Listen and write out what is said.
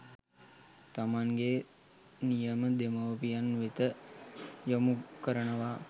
තමන්ගේ නියම දෙමව්පියන් වෙත යොමු කරනවා